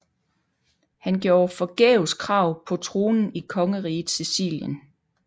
Han gjorde forgæves krav på tronen i Kongeriget Sicilien